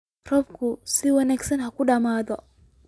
Roobku si wanaagsan ha ku dhammaado